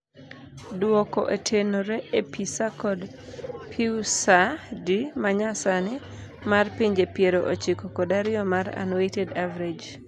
Duoko otenore e PISA kod PIUSA-D manyasani mar pinje piero ochiko kod ariyo mar unweighted average.